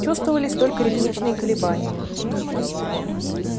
чувствовались только ритмичные колебания